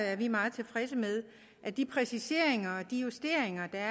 er vi meget tilfredse med at de præciseringer og justeringer der